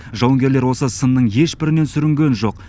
жауынгерлер осы сынның ешбірінен сүрінген жоқ